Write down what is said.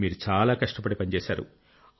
మీరు చాలా కష్టపడి పనిచేశారు